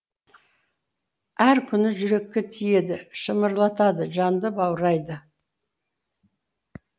әр әні жүрекке тиеді шымырлатады жанды баурайды